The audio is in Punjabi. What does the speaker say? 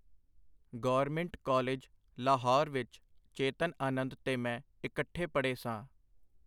ਗੌਰਮਿੰਟ ਕਾਲਿਜ, ਲਾਹੌਰ ਵਿਚ ਚੇਤਨ ਆਨੰਦ ਤੇ ਮੈਂ ਇਕੱਠੇ ਪੜ੍ਹੇ ਸਾਂ.